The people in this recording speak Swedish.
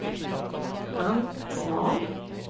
Ann Svahn